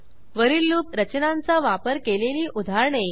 वरील लूप रचनांचा वापर केलेली उदाहरणे